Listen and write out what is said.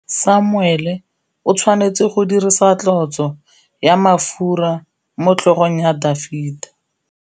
Samuele o tshwanetse go dirisa tlotsô ya mafura motlhôgong ya Dafita.